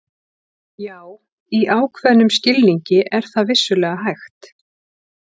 Já, í ákveðnum skilningi er það vissulega hægt.